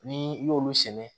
Ni i y'olu sɛnɛ